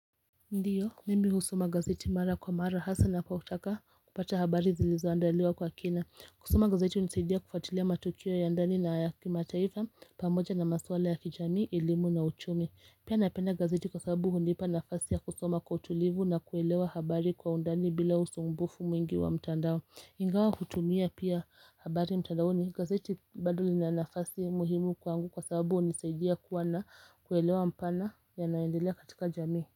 Ndiyo, mimi husoma gazeti mara kwa mara, hasa napotaka kupata habari zilizoandaliwa kwa kina. Kusoma gazeti hunisaidia kufuatilia matukio ya ndani na ya kimataifa, pamoja na masuala ya kijamii, elimu na uchumi Pia napenda gazeti kwa sababu hunipa nafasi ya kusoma kwa utulivu na kuelewa habari kwa undani bila usumbufu mwingi wa mtandao. Ingawa kutumia pia habari mtandaoni, gazeti bado lina nafasi muhimu kwangu kwa sababu hunisaidia kuwa na kuelewa mpana yanayoendelea katika jamii.